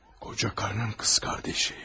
Qoca qarının qız qardeşi.